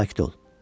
Sakit ol.